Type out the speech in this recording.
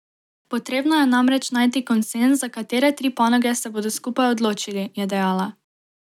Potrebno je namreč najti konsenz za katere tri panoge se bodo skupaj odločili, je dejala.